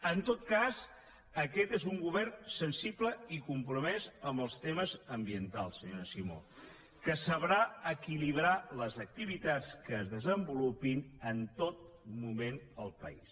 en tot cas aquest és un govern sensible i compromès amb els temes ambientals senyora simó que sabrà equilibrar les activitats que es desenvolupin en tot moment al país